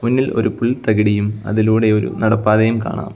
മുന്നിൽ ഒരു പുൽ തകിടിയും അതിലൂടെ ഒരു നടപ്പാതയും കാണാം.